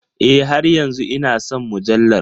E, har yanzu ina son mujallar.